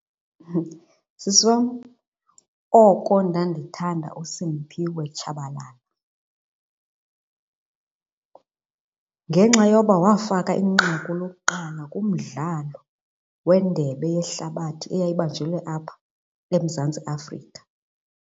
Sisi wam, oko ndandithanda uSiphiwe Tshabalala ngenxa yoba wafaka inqaku lokuqala kumdlalo wendebe yehlabathi eyayibanjelwe apha eMzantsi Afrika.